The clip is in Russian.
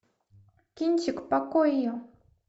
кинчик покойо